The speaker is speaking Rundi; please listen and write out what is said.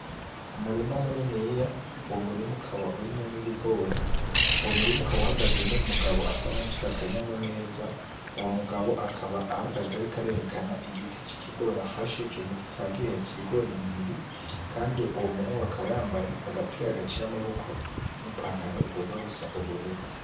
Imirima mininiya, Uwo murima ukaba urimyemwo ibigori, uwo murima ukaba uhagazemwo umugabo afise akanyamuneza, uwo mugabo akaba ahagaze ariko arerekana igiti c’ikigori afashe, ico giti kikaba gihetse ibigori bibiri Kandi Uwo muhungu akaba yambaye agapira gaciye amaboko n’ipantalon igomba gusa ubururu.